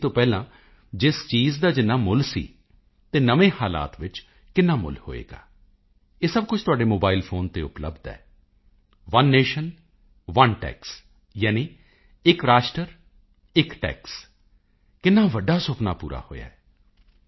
ਤੋਂ ਪਹਿਲਾਂ ਜਿਸ ਚੀਜ਼ ਦਾ ਜਿੰਨਾ ਮੁੱਲ ਸੀ ਤੇ ਨਵੇਂ ਹਾਲਾਤ ਵਿੱਚ ਕਿੰਨਾ ਮੁੱਲ ਹੋਵੇਗਾ ਇਹ ਸਭ ਕੁਝ ਤੁਹਾਡੇ ਮੋਬਾਇਲ ਫੋਨ ਤੇ ਉਪਲੱਬਧ ਹੈ ਓਨੇ ਨੇਸ਼ਨ ਓਨੇ ਟੈਕਸ ਯਾਨੀ ਇੱਕ ਰਾਸ਼ਟਰ ਇੱਕ ਟੈਕਸ ਕਿੰਨਾ ਵੱਡਾ ਸੁਪਨਾ ਪੂਰਾ ਹੋਇਆ ਜੀ